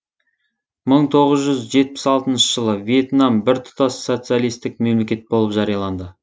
мың тоғыз жүз жетпіс алтыншы жылы вьетнам біртұтас социалистік мемлекет болып жарияланды